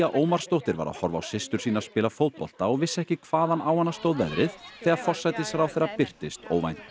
Ómarsdóttir var að horfa á systur sína spila fótbolta og vissi ekki hvaðan á hana stóð veðrið þegar forsætisráðherra birtist óvænt